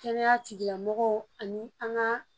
Kɛnɛya tigilamɔgɔw ani an ka